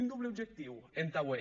un doble objectiu entà aué